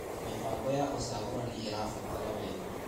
Mĩbango ya ũcagũrani ĩrabatara wega.